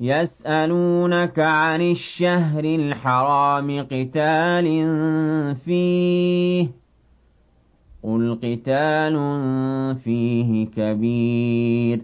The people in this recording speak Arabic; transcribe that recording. يَسْأَلُونَكَ عَنِ الشَّهْرِ الْحَرَامِ قِتَالٍ فِيهِ ۖ قُلْ قِتَالٌ فِيهِ كَبِيرٌ ۖ